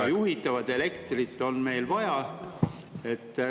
Aga juhitavat elektrit on meil vaja.